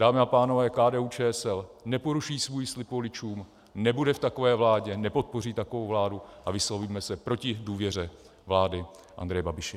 Dámy a pánové, KDU-ČSL neporuší svůj slib voličům, nebude v takové vládě, nepodpoří takovou vládu a vyslovíme se proti důvěře vládě Andreje Babiše.